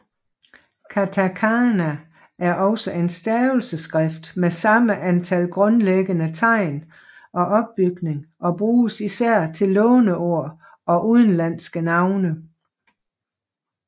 Katakana er også en stavelsesskrift med samme antal grundlæggende tegn og opbygning og bruges især til låneord og udenlandske navne